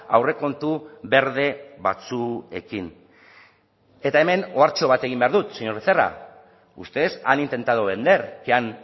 aurrekontu berde batzuekin eta hemen ohartxo bat egin behar dut señor becerra ustedes han intentado vender que han